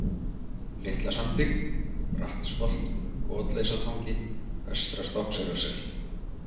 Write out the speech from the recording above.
Litla Sandvík, Brattsholt, Kotleysa-Tangi, Vestra-Stokkseyrarsel